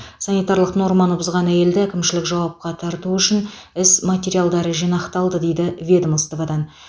санитарлық норманы бұзған әйелді әкімшілік жауапқа тарту үшін іс материалдары жинақталды дейді ведомстводан